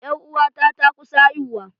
Ƴar uwata ta kusa haihuwa.